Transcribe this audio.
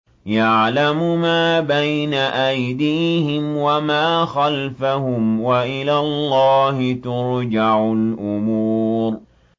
يَعْلَمُ مَا بَيْنَ أَيْدِيهِمْ وَمَا خَلْفَهُمْ ۗ وَإِلَى اللَّهِ تُرْجَعُ الْأُمُورُ